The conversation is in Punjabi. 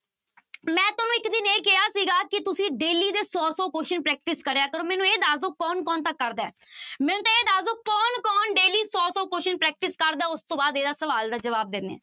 ਮੈਂ ਤੁਹਾਨੂੰ ਇੱਕ ਦਿਨ ਇਹ ਕਿਹਾ ਸੀਗਾ ਕਿ ਤੁਸੀਂ daily ਦੇ ਸੌ ਸੌ question practice ਕਰਿਆ ਕਰੋ, ਮੈਨੂੰ ਇਹ ਦੱਸ ਦਓ ਕੌਣ ਕੌਣ ਤਾਂ ਕਰਦਾ ਹੈ ਮੈਨੂੰ ਤਾਂ ਇਹ ਦੱਸ ਦਓ ਕੌਣ ਕੌਣ daily ਸੌ ਸੌ question practice ਕਰਦਾ, ਉਸ ਤੋਂ ਬਾਅਦ ਇਹਦਾ ਸਵਾਲ ਦਾ ਜਵਾਬ ਦਿਨੀ